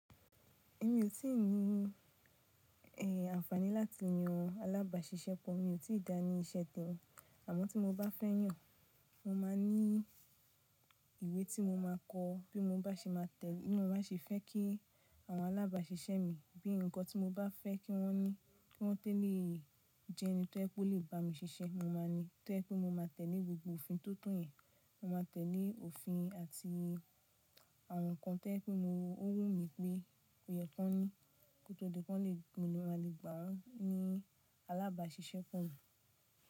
Èmi ò tí ì ní àǹfàní láti yan alábàáṣiṣẹ́ pọ̀. Mi ò tí ì dá ní iṣẹ́ tẹmi. Àmọ́ tí mo bá fẹ́ yàn, mo máa ní ìwé tí mo máa ko bí mo bá ṣe fẹ́ kí àwọn alábàáṣiṣẹ́ mi bí i nǹkan tí mo bá fẹ́ kí wọ́n ní, kí wọ́n tolé jẹ́ ẹni tí ẹ ó lè bá mi ṣiṣẹ́, mo máa ní. To jẹ wipé mo máa tẹ̀lé gbogbo òfin tío to yẹn, mo máa tẹ̀lé òfin àti àwọn nǹkan tojẹ pé ó wù mí pé ò yẹ kí wọ́n ní, kó tó di pé mo ma lè gbà wan ní alábáṣiṣẹ́ pọ̀ mi.